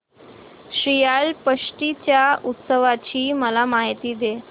श्रीयाळ षष्टी च्या उत्सवाची मला माहिती दे